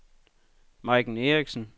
Majken Erichsen